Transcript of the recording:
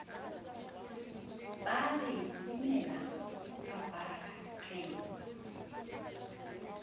ba are lemela kapaba re